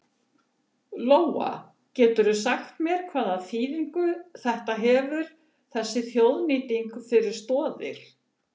Lóa: Geturðu sagt mér hvaða þýðingu þetta hefur þessi þjóðnýting fyrir Stoðir?